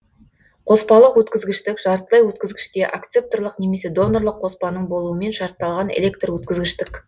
қоспалық өткізгіштік жартылай өткізгіште акцепторлық немесе донорлык қоспаның болуымен шартталған электр өткізгіштік